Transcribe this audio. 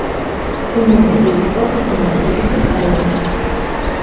Umrimda ilk bor nimadir yutib oldim!